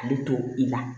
Ale to i la